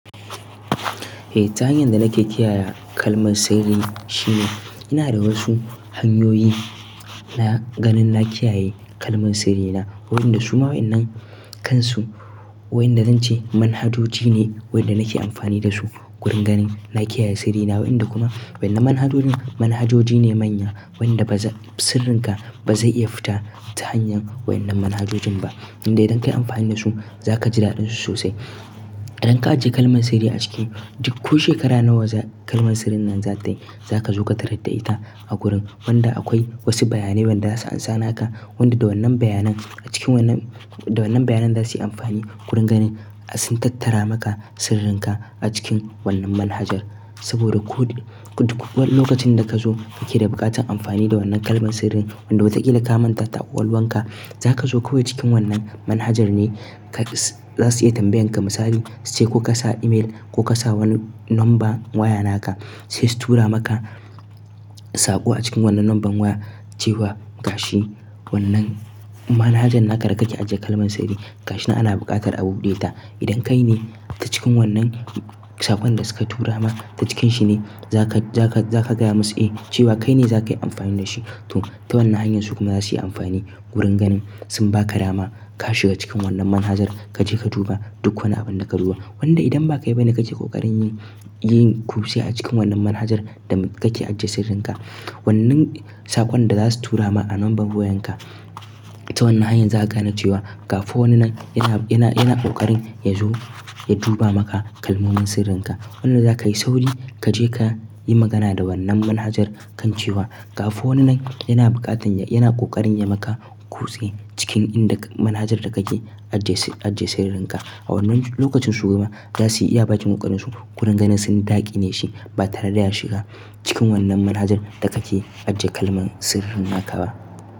Eh, ta hanyar da nake kiyaye kalmar sirri shine ina da wasu hanyoyi na ganin na kiyaye kalmar sirrina. Waɗanda su ma waɗannan kansu wayanda zan ce manhajoji ne waɗanda nake amfani da su wurin ganin na kiyaye sirrina. Wayanda kuma wannan manhajojin, manhajoji ne manya wayanda ba zai, sirrinka ba zai iya fita ta hanyar waɗannan manhajojin ba. Indai idan ka yi amfani da su za ka ji daɗinsu sosai. Idan ka ajiye kalmar sirri a ciki, duk ko shekara nawa kalmar sirrin nan za tayi, za ka zo ka tarar da ita a gurin. Wanda akwai wasu bayanai wadda za su amsa naka, wanda da wannan bayanan a cikin wannan, da wannan bayanan za su yi amfani wurin ganin sun tattara maka sirrinka a cikin wannan manhajar. Saboda ko duk wani lokacin da ka zo kake da buƙatar amfani da wannan kalmar sirrin wadda wa ta ƙila ka mantata a ƙwakwaluwanka, za ka zo kawai cikin wannan manhajar ne ka, za su iya tambayan ka misali, su ce ko ka sa email ko ka sa wani number waya naka, sai su tura maka saƙo a cikin wannan number waya cewa gashi wannan manhajar naka da kake ajiye kalmar sirri. Gashi nan ana buƙatar abu deta. Idan kai ne ta cikin wannan saƙon da suka tura ma, ta cikinshi ne za ka, za ka, za ka gaya musu eh cewa kai ne za ka yi amfani da shi. To, ta wannan hanyar su kuma za su yi amfani wurin ganin sun ba ka dama ka shiga cikin wannan manhajar kaje ka duba duk wani abin da ka duba. Wanda idan ba kai ba ne ka ke ko ƙarin yi, yin ƙuse a cikin wannan manhajar da kake ajiye sirrinka, wannan saƙon da za su tura ma a number wayanka ta wannan hanyar za a gane cewa ga fa wani nan yana, yana, yana ƙoƙarin yazo ya duba maka kalmomin sirrinka. Wannan za ka yi sauri kaje ka yi magana da wannan manhajar kan cewa ga fa wani nan yana buƙatar, yana ƙoƙarin ya maka ƙuse cikin inda manhajar da kake ajiye, ajiye sirrinka. A wannan lokacin su kuma za su yi iya bacin ƙoƙarinsu wurin ganin sun daƙi ne shi ba tare da ya shiga cikin wannan manhajar da kake ajiye kalmar sirrin naka ba.